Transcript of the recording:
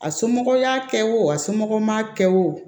A somɔgɔw y'a kɛ wo a somɔgɔ m'a kɛ wo